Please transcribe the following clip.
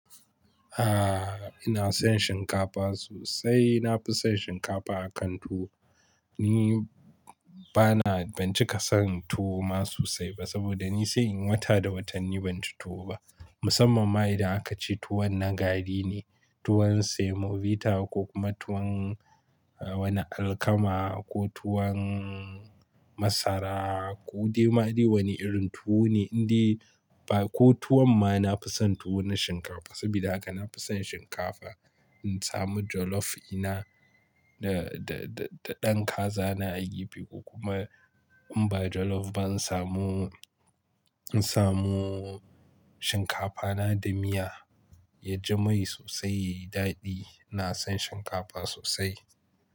Aaa, ina son shinkafa sosai. Na fi son shinkafa akan tuwo. Ni ba na, ban cika saran tuwo ma so sai ba saboda ni sai in yi wata da watanni ban ci tuwo ba. Musamman ma idan aka ce tuwon na gari ne, tuwon semovita ko kuma tuwon wani alkama ko tuwon masara ko dai ma dai wani irin tuwo ne. Inde ba ko tuwon ma na fi san tuwo na shinkafa. Sabida haka na fi san shinkafa. In samu jollof dina da, da, da ɗan kaza na a gefe. Kuma in ba jollof ba in samu, in samu shinkafa na da miya ya ji mai sosai ya yi daɗi. Na son shinkafa sosai.